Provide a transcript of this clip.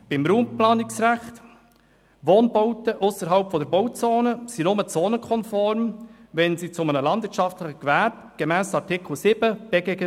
Beim Raumplanungsrecht: Wohnbauten ausserhalb der Bauzone sind nur zonenkonform, wenn sie zu einem landwirtschaftlichen Gewerbe gemäss Artikel 7 BGBB gehören.